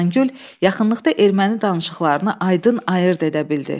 Xəzəngül yaxınlıqda erməni danışıqlarını aydın ayırd edə bildi.